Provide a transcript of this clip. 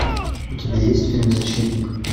у тебя есть фильм защитник